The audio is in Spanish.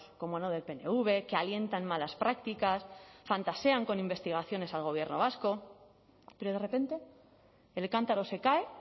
cómo no del pnv que alientan malas prácticas fantasean con investigaciones al gobierno vasco pero de repente el cántaro se cae